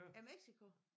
I Mexico?